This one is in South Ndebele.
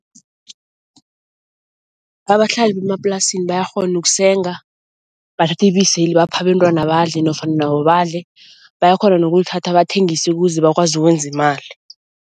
Abahlali bemaplasini bayakghona ukusenga, bathathe ibiseli baphe abentwana badle nofana nabo badle, bayakghona nokulithatha bathengise ukeze bakwazi ukwenza imali.